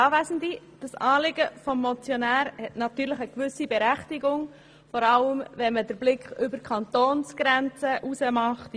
Dieses Anliegen des Motionärs hat natürlich eine gewisse Berechtigung, vor allem wenn man über die Kantonsgrenze in den Kanton